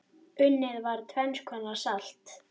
Unnið var tvenns konar salt.